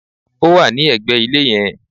Ó wà ní ẹ̀gbẹ̀ ilé yẹn